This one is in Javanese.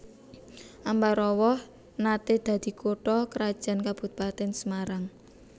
Ambarawa naté dadi kutha krajan Kabupatèn Semarang